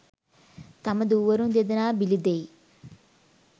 තම දූවරුන් දෙදෙනා බිලි දෙයි